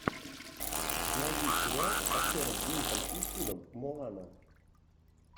найди сериал с актером клинтом иствудом моана